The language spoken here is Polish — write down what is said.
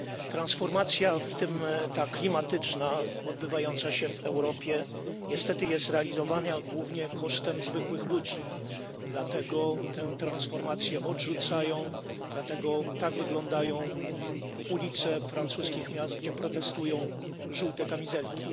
Transformacja, w tym ta klimatyczna, odbywająca się w Europie niestety jest realizowana głównie kosztem zwykłych ludzi, dlatego tę transformację odrzucają, dlatego tak wyglądają ulice francuskich miast, gdzie protestują żółte kamizelki.